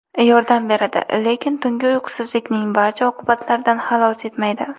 Yordam beradi, lekin tungi uyqusizlikning barcha oqibatlaridan xalos etmaydi .